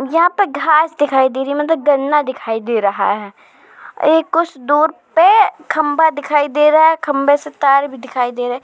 यहाँ पे घास दिखाई दे रही है मतलब गन्ना दिखाई दे रहा है। इ कुछ दूर पे खम्भा दिखाई दे रहा है। खम्भे से तार भी दिखाई दे रहा है।